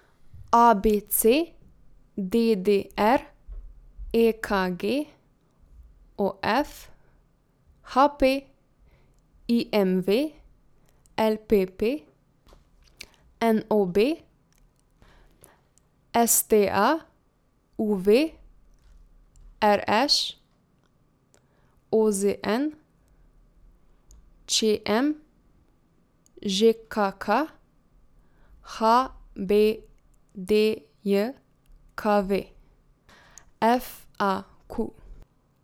A B C; D D R; E K G; O F; H P; I M V; L P P; N O B; S T A; U V; R Š; O Z N; Č M; Ž K K; H B D J K V; F A Q.